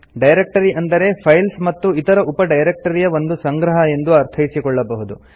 directory ಅಂದರೆ files ಮತ್ತು ಇತರ ಉಪ ಡೈರೆಕ್ಟರಿಯ ಒಂದು ಸಂಗ್ರಹ ಎಂದು ಅರ್ಥೈಸಿಕೊಳ್ಳಬಹುದು